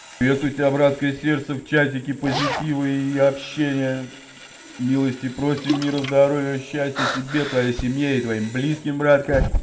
если у тебя братское сердце в чатике позитива и общение милости просим мира здоровья счастья тебе и твоей семье и твоим близким братка